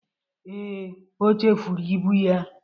Ee, o chefuru ibụ ya